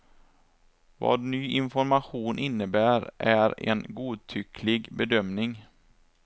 Vad ny information innebär är en godtycklig bedömning.